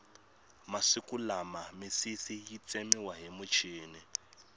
masiku lama misisi yi tsemiwa hi muchini